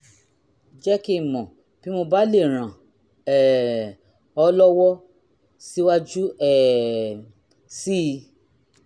jẹ́ kí n mọ̀ bí mo bá lè ràn um ọ́ lọ́wọ́ síwájú um sí i